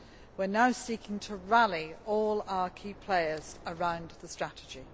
We are now seeking to rally all our key players around the strategy.